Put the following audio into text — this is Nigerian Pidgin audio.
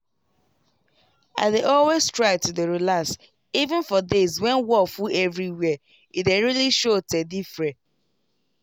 i dey always try to dey relax even for days when wor full everywhere e dey really show teh diffre